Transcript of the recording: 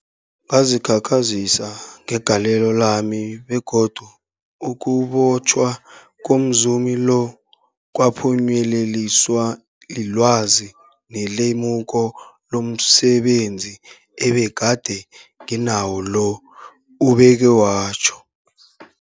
Ngazikhakhazisa ngegalelo lami, begodu ukubotjhwa komzumi lo kwaphunyeleliswa lilwazi nelemuko lomse benzi ebegade nginalo, ubeke watjho.